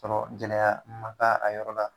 Tɔrɔ gɛlɛya ma k'a a yɔrɔ la